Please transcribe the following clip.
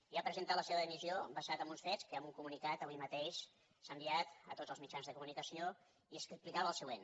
i ha presentat la seva dimissió basat en uns fets que amb un comunicat avui mateix s’ha enviat a tots els mitjans de comunicació i que explicava el següent